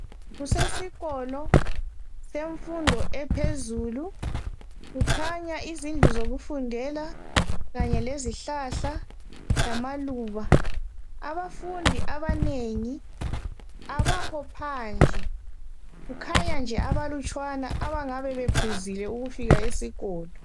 Kusesikolo semfundo ephezulu , kukhanya izindlu zokufundela kanye lezihlahla lamaluba. Abafundi abanengi abakho phandle, kukhanye nje abalutshwana abangabe bephuzile ukufika esikolo.